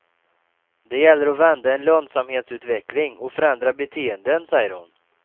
Det gäller att vända en lönsamhetsutveckling och förändra beteenden, säger hon.